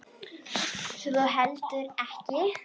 Svo þú heldur ekki?